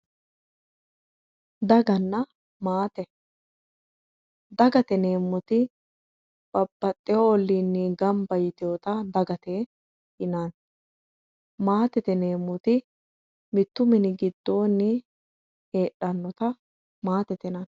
Daganna maate, dagate yineemmoti babbaxewo ollinni gamba yitinotta dagate yinnanni maatete yineemmoti mitu mini giddoni heedhanotta maatete yinnanni.